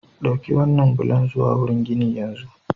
Ɗauki waɗannan bulan zuwa wurin ginin yanzu!